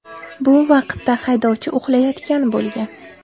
Bu vaqtda haydovchi uxlayotgan bo‘lgan.